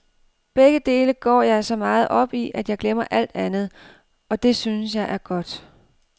Begge dele går jeg så meget op i, at jeg glemmer alt andet, og det synes jeg er godt.